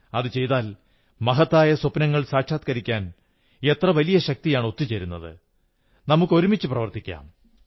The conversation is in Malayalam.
അതു ചെയ്താൽ മഹത്തായ സ്വപ്നങ്ങൾ സാക്ഷാത്കരിക്കാൻ എത്ര വലിയ ശക്തിയാണ് ഒത്തു ചേരുന്നത് നമുക്ക് ഒരുമിച്ചു പ്രവർത്തിക്കാം